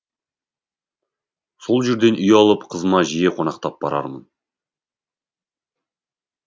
сол жерден үй алып қызыма жиі қонақтап барармын